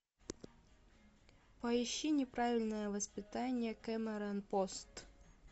поищи неправильное воспитание кэмерон пост